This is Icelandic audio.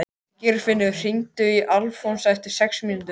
Geirfinnur, hringdu í Alfons eftir sex mínútur.